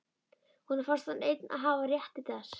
Honum fannst hann einn hafa rétt til þess.